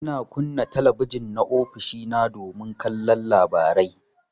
Ina kunna talabijin na ofishina domin kallon labarai.